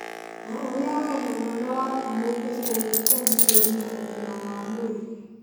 Na ũrĩa wee na mwana waku mũngĩtũũria ũgitĩri na ũgima wa mwĩrĩ.